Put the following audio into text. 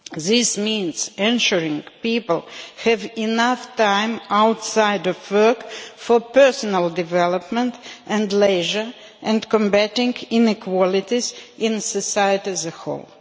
This means ensuring people have enough time outside work for personal development and leisure, and combating inequalities in society as a whole.